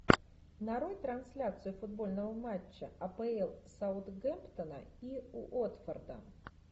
нарой трансляцию футбольного матча апл саутгемптона и уотфорда